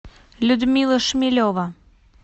людмила шмелева